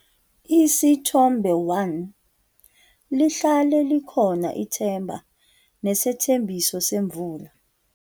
Isithombe 1- Lihlale likhona ithemba nesethembiso semvula.